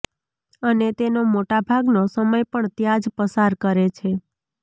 અને તેનો મોટા ભાગનો સમય પણ ત્યાં જ પસાર કરે છે